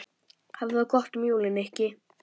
Hafðu það gott um jólin, Nikki